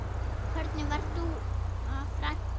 Hvernig var Dúa frænka?